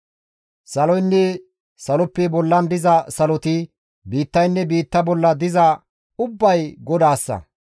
Saloynne saloppe bollan diza saloti, biittaynne biitta bolla diza ubbay GODAASSA.